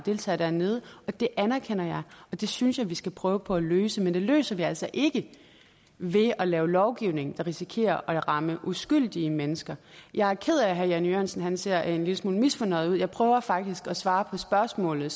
og deltager dernede og det anerkender jeg og det synes jeg vi skal prøve på at løse men det løser vi altså ikke ved at lave lovgivning der risikerer at ramme uskyldige mennesker jeg er ked af at herre jan e jørgensen ser en lille smule misfornøjet ud jeg prøver faktisk at svare på spørgsmålet